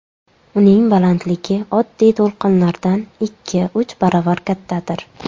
Uning balandligi oddiy to‘lqinlardan ikkiuch baravar kattadir.